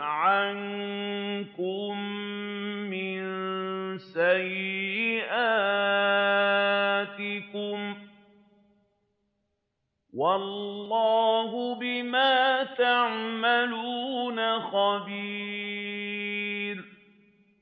عَنكُم مِّن سَيِّئَاتِكُمْ ۗ وَاللَّهُ بِمَا تَعْمَلُونَ خَبِيرٌ